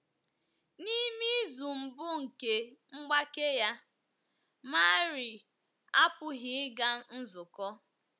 N’ime izu mbụ nke mgbake ya, Marie apụghị ịga nzukọ.